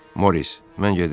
Moris, mən gedirəm.